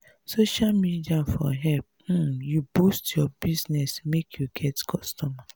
social media for help um you boost your business make you get customer.